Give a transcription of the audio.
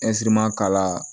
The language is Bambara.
k'a la